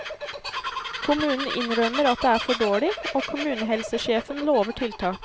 Kommunen innrømmer at det er for dårlig, og kommunehelsesjefen lover tiltak.